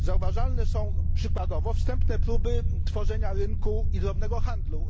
Zauważalne są przykładowo wstępne próby tworzenia rynku i drobnego handlu.